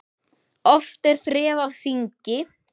Oft er þref á þingi.